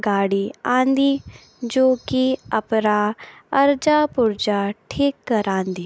गाडी आंदी जो की अपरा अरजा पुर्जा ठीक करांदी।